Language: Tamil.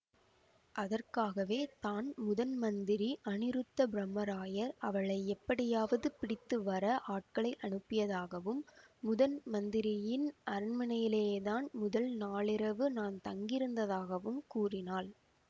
அதற்காகவே தான் முதன்மந்திரி அநிருத்தப்பிரம்மராயர் அவளை எப்படியாவது பிடித்து வர ஆட்களை அனுப்பியதாகவும் முதன்மந்திரியின் அரண்மனையிலேதான் முதல் நாளிரவு தான் தங்கியிருந்ததாகவும் கூறினாள்